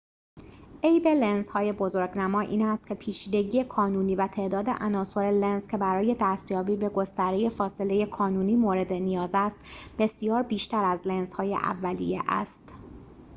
عیب لنزهای بزرگنما این است که پیچیدگی کانونی و تعداد عناصر لنز که برای دستیابی به گستره فاصله کانونی مورد نیاز است بسیار بیشتر از لنزهای اولیه است